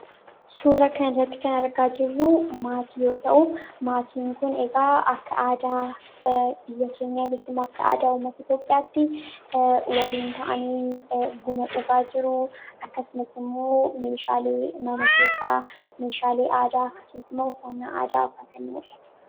Suuraa kanarratti kan argaa jirru maatii yoo ta'u, maatiin kun egaa aadaa biyya keenyaanis immoo akka aadaa uummata Itoophiyaatti waliin ta'anii buna dhugaa jiru. akkasumas immoo meeshaalee mana keessaa meeshaalee aadaa akkasumas faayaati.